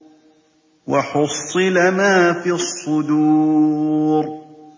وَحُصِّلَ مَا فِي الصُّدُورِ